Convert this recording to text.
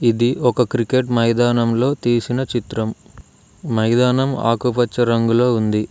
ఇది ఒక క్రికెట్ మైదానంలో తీసిన చిత్రం మైదానం ఆకుపచ్చ రంగులో ఉంది.